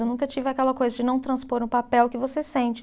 Eu nunca tive aquela coisa de não transpor no papel o que você sente.